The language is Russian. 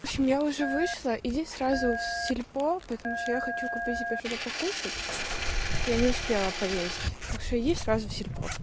в общем я уже вышла иди сразу в сельпо потому что я хочу купить себе что-то покушать я не успела поесть так что иди сразу в сельпо